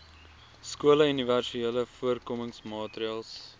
skole universele voorkomingsmaatreëls